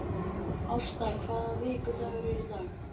Ásta, hvaða vikudagur er í dag?